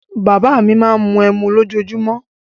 Bàbá à mi máa ń mu ẹmu lójoojúmó.